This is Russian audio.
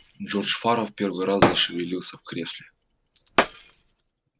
джордж фара в первый раз зашевелился в кресле